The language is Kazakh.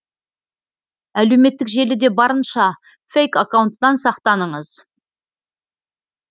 әлеуметтік желіде барынша фейк аккаунттан сақтаныңыз